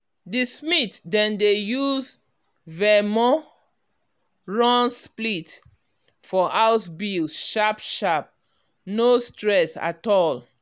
the smith dem dey use venmo run split for house bills sharp-sharp no stress at all.